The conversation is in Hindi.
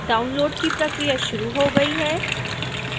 डाउनलोड़ की प्रक्रिया शुरू हो गई है